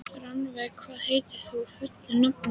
Rannveig, hvað heitir þú fullu nafni?